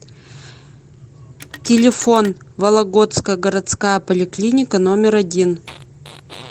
телефон вологодская городская поликлиника номер один